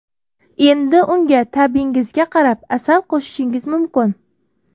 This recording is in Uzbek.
Endi unga ta’bingizga qarab asal qo‘shishingiz mumkin.